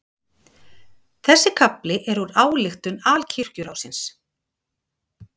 Þessi kafli er úr ályktun Alkirkjuráðsins.